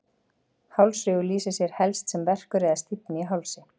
Hálsrígur lýsir sér helst sem verkur eða stífni í hálsi.